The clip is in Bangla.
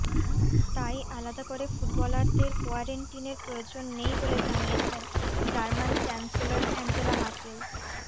তাই আলাদা করে ফুটবলারদের কোয়ারেন্টিনের প্রয়োজন নেই বলে জানিয়েছেন জার্মান চ্যান্সেলর অ্যাঞ্জেলা মার্কেল